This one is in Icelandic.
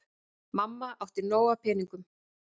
Mamma átti nóg af peningum.